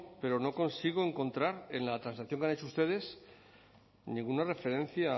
pero no consigo encontrar en la transacción que han hecho ustedes ninguna referencia a